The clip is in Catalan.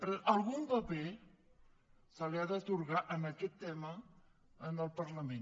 però algun paper se li ha d’atorgar en aquest tema al parlament